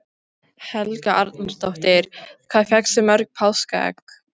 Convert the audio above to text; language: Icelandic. Helga Arnardóttir: Hvað fékkstu mörg páskaegg?